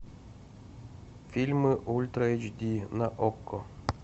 фильмы ультра эйч ди на окко